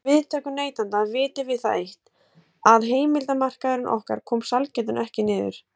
Um viðtökur neytenda vitum við það eitt, að heimildarmaður okkar kom sælgætinu ekki niður.